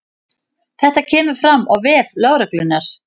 Þetta kemur fram á vef lögreglunnar